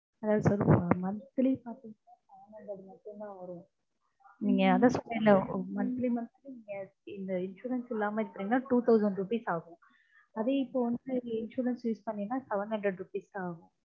அதாவது sir monthly பாத்தீங்கனா seven hundred மட்டும்தா வரும். monthly monthly இந்த insurance இல்லாம use பண்ணிங்கனா two thousand ஆகும். அதே இப்போ வந்து insurance use பண்ணீங்கன்னா seven hundred rupees தா ஆகும்